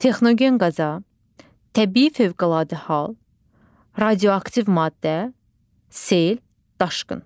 Texnogen qəza, təbii fövqəladə hal, radioaktiv maddə, sel, daşqın.